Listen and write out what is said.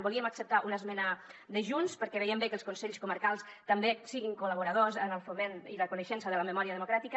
volíem acceptar una esmena de junts perquè veiem bé que els consells comarcals també siguin col·laboradors en el foment i la coneixença de la memòria democràtica